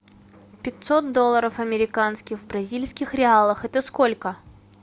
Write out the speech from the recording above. пятьсот долларов американских в бразильских реалах это сколько